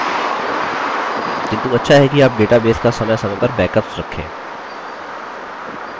किन्तु अच्छा है कि आप database का समयसमय पर backups रखें